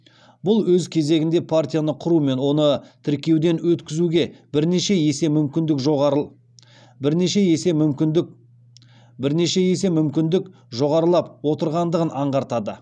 бұл өз кезегінде партияны құру мен оны тіркеуден өткізуге бірнеше есе мүмкіндік жоғарылап отырғандығын аңғартады